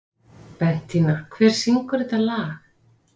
Bentína, hver syngur þetta lag?